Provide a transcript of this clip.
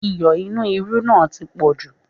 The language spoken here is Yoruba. Iyọ̀ inú irú náà tí poju